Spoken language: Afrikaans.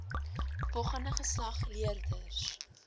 volgende geslag leerders